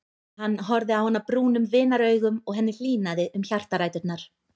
Hann horfði á hana brúnum vinaraugum og henni hlýnaði um hjartaræturnar.